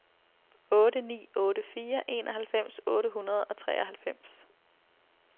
otte ni otte fire enoghalvfems otte hundrede og treoghalvfems